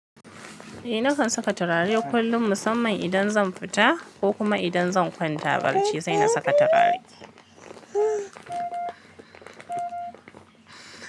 Eh, nakan saka turare kullum musamman idan zan fita ko kuma idan zan kwanta barci sai na saka turare.